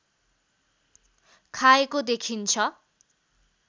खाएको देखिन्छ